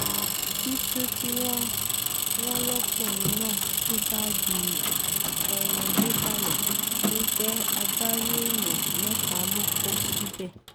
títù tí wọ́n lọ́kùnrin náà tú báàgì ọ̀hún désàlẹ̀ ló jẹ́ agbárí èèyàn mẹ́ta ló kó síbẹ̀